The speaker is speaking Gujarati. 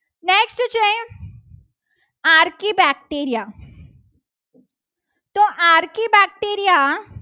આર. કે બેક્ટેરિયા તો Rk બેક્ટેરિયા